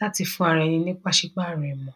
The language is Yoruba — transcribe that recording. láti fún ara ẹni ní pàsípàrọ̀ ìmọ̀.